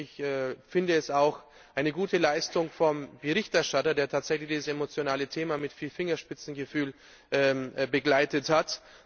Ich finde es auch eine gute Leistung vom Berichterstatter, der tatsächlich dieses emotionale Thema mit viel Fingerspitzengefühl begleitet hat.